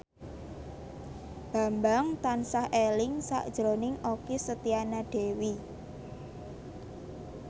Bambang tansah eling sakjroning Okky Setiana Dewi